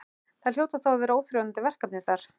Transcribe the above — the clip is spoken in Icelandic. Það hljóta þá að vera óþrjótandi verkefni þar?